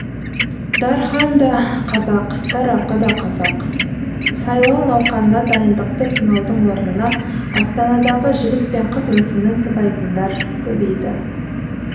дархан да қазақ дарақы да қазақ сайлау науқанына дайындықты сынаудың орнына астанадағы жігіт пен қыз мүсінін сыбайтындар көбейді